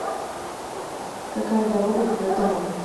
какая дорога ведет домой